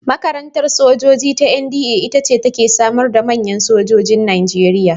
Makarantar sojoji ta NDA ita ce ta ke samar da manyan sojojin Najeriya.